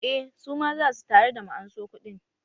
Eh, suma za su tare da mu anso kuɗin